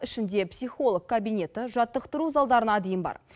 ішінде психолог кабинеті жаттықтыру залдарына дейін бар